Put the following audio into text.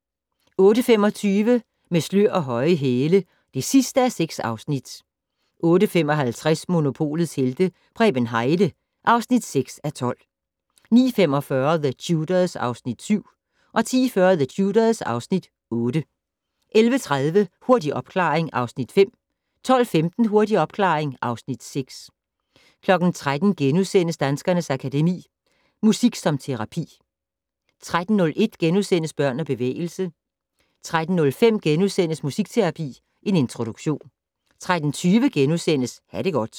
08:25: Med slør og høje hæle (6:6) 08:55: Monopolets Helte - Preben Heide (6:12) 09:45: The Tudors (Afs. 7) 10:40: The Tudors (Afs. 8) 11:30: Hurtig opklaring (Afs. 5) 12:15: Hurtig opklaring (Afs. 6) 13:00: Danskernes Akademi: Musik som terapi * 13:01: Børn og bevægelse * 13:05: Musikterapi - en introduktion * 13:20: Ha' det godt *